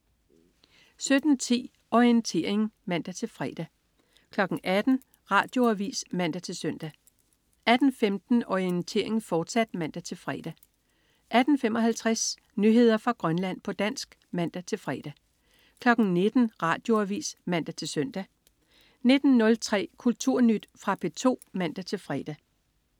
17.10 Orientering (man-fre) 18.00 Radioavis (man-søn) 18.15 Orientering, fortsat (man-fre) 18.55 Nyheder fra Grønland, på dansk (man-fre) 19.00 Radioavis (man-søn) 19.03 Kulturnyt. Fra P2 (man-fre)